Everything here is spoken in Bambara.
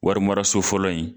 Wari mara so fɔlɔ in